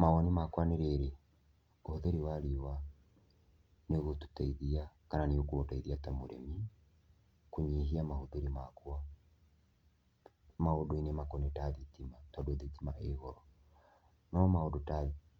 Mawoni makwa nĩ rĩrĩ, ũhũthĩri wa riũa nĩ ugũtũteithia kana nĩ ũkũndeithia ta mũrĩmi kũnyihia mahũthĩro makwa maũndũ-inĩ makoniĩ ta thitima tondũ thitima ĩ goro. No maũndũ ta